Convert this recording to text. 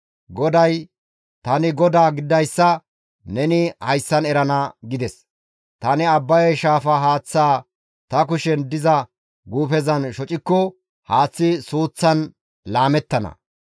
GODAY, «Tani GODAA gididayssa neni hayssan erana» gides. Tani Abbaye shaafa haaththaa ta kushen diza guufezan shocikko haaththay suuththan laamettana.